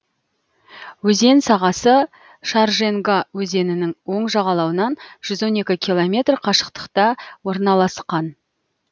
өзен сағасы шарженга өзенінің оң жағалауынан жүз он екі километр қашықтықта орналасқан